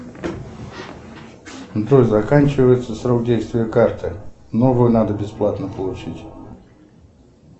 джой заканчивается срок действия карты новую надо бесплатно получить